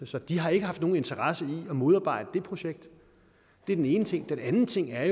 så de har ikke haft nogen interesse i at modarbejde det projekt det er den ene ting den anden ting er